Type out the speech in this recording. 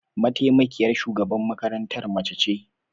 Mataimakiyar shugaban makarantar mace ce?